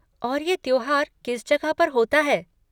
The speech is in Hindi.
और ये त्योहार किस जगह पर होता है?